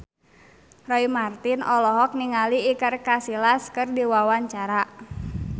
Roy Marten olohok ningali Iker Casillas keur diwawancara